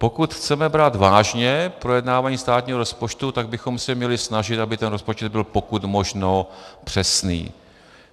Pokud chceme brát vážně projednávání státního rozpočtu, tak bychom se měli snažit, aby ten rozpočet byl pokud možno přesný.